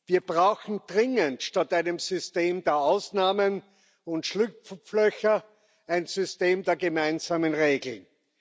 Wir brauchen dringend statt einem System der Ausnahmen und Schlupflöcher ein System der gemeinsamen Regeln.